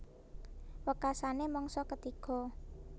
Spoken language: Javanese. Wekasané mangsa ketiga